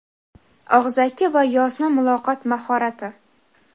Og‘zaki va yozma muloqot mahorati;.